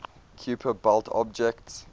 kuiper belt objects